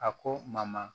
A ko mama